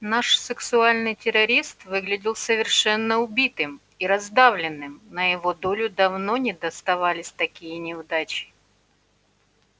наш сексуальный террорист выглядел совершенно убитым и раздавленным на его долю давно не доставались такие неудачи